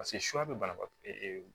Paseke suya bɛ banabaatɔ